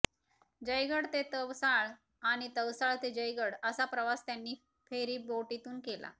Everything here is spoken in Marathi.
जयगड ते तवसाळ आणि तवसाळ ते जयगड असा प्रवास त्यांनी फेरीबोटीतून केला